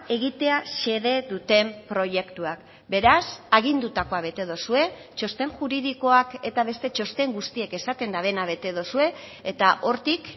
egitea xede duten proiektuak beraz agindutakoa bete duzue txosten juridikoak eta beste txosten guztiek esaten dutena bete duzue eta hortik